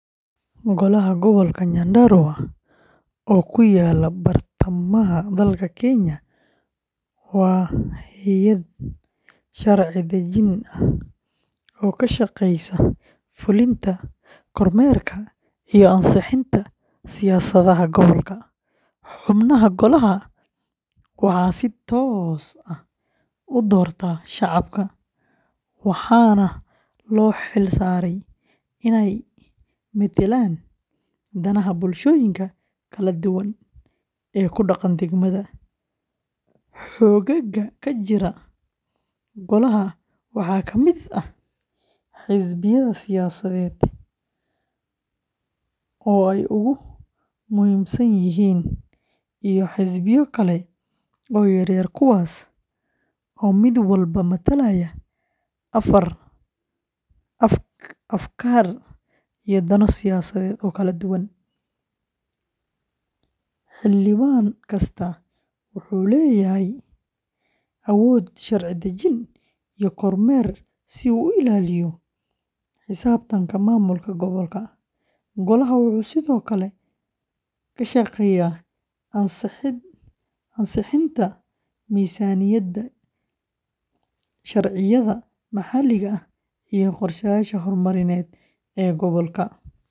Golaha gobolka Nyandarua oo ku yaalla bartamaha dalka Kenya waa hay’ad sharci-dejin ah oo ka shaqeysa fulinta, kormeerka iyo ansixinta siyaasadaha gobolka. Xubnaha golahan waxaa si toos ah u doorta shacabka, waxaana loo xil saaray inay metelaan danaha bulshooyinka kala duwan ee ku dhaqan degmada. Xoogagga ka jira golahan waxaa kamid ah xisbiya siyaasadeed oo ay ugu muhiimsan yihiin, iyo xisbiyo kale oo yaryar kuwaas oo mid walba matalaya afkaar iyo dano siyaasadeed oo kala duwan. Xildhibaan kasta wuxuu leeyahay awood sharci-dejin iyo kormeer si uu u ilaaliyo xisaabtanka maamulka gobolka. Golaha wuxuu sidoo kale ka shaqeeyaa ansixinta miisaaniyadda, sharciyada maxalliga ah, iyo qorsheyaasha horumarineed ee gobolka.